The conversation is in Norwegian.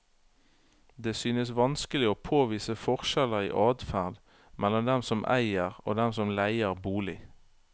Det synes vanskelig å påvise forskjeller i adferd mellom dem som eier og dem som leier bolig.